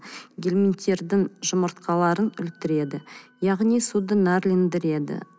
герменттердің жұмыртқаларын өлтіреді яғни суды нәрлендіреді